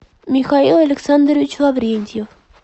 михаил александрович лаврентьев